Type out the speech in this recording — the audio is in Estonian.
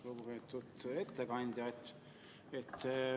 Lugupeetud ettekandja!